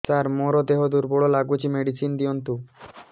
ସାର ମୋର ଦେହ ଦୁର୍ବଳ ଲାଗୁଚି ମେଡିସିନ ଦିଅନ୍ତୁ